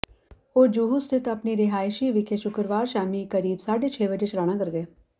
ਉਹ ਜੂਹੂ ਸਥਿਤ ਆਪਣੀ ਰਿਹਾਇਸ਼ ਵਿਖੇ ਸ਼ੁੱਕਰਵਾਰ ਸ਼ਾਮੀ ਕਰੀਬ ਸਾਢੇ ਛੇ ਵਜੇ ਚਲਾਣਾ ਕਰ ਗਏ